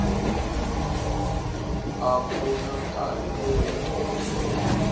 a ku na nkarhi lowu